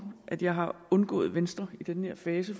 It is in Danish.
at jeg har undgået venstre i den her fase